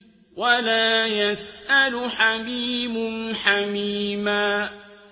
وَلَا يَسْأَلُ حَمِيمٌ حَمِيمًا